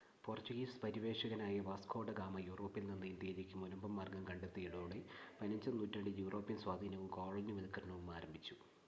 Portuguese പര്യവേക്ഷകനായ Vasco da Gama യൂറോപ്പിൽനിന്ന് ഇന്ത്യയിലേക്ക് മുനമ്പ് മാർഗ്ഗം കണ്ടെ ത്തിയതോടെ,15-ാം നൂറ്റാണ്ടിൽ യൂറോപ്യൻ സ്വാധീനവും കോളനിവത്ക്കരണവും ആരംഭിച്ചു